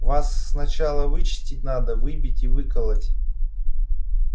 вас сначала вычистить надо выбить и выколотить